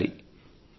ప్రయత్నించాలి